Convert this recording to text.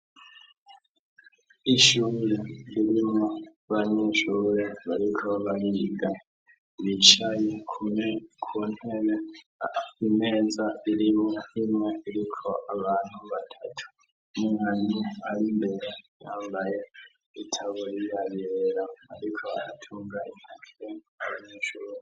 Icumba c' ishure kirimw' abanyeshure bicaye ku ntebe bambaye umwambaro w' ishur' ubaranga, imbere yabo har' umwarim' arikubigisha, inyuma y' umwarimu har' akabati babikamw' ibikoresho, kuruhome har' amadirish' abiri manin' azan' umuco mw' ishure, imbere n' inyuma har' ikibaho cirabura co kwandikako.